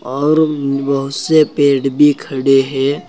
और बहुत से पेड़ भी खड़े है।